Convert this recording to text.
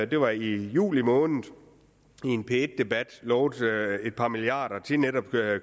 det var i juli måned i en p1 debat lovede et par milliarder til netop